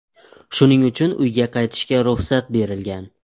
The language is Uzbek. Shuning uchun uyga qaytishga ruxsat berilgan.